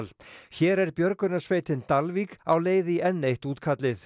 hér er björgunarsveitin Dalvík á leið í enn eitt útkallið